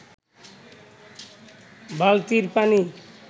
বালতির পানি